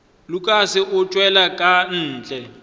lukas go tšwela ka ntle